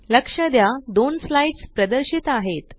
लक्ष द्या दोन स्लाइड्स प्रदर्शित आहेत